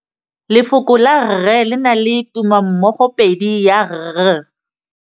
Lefoko la rre le na le tumammogôpedi ya, r.